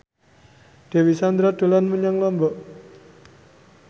Dewi Sandra dolan menyang Lombok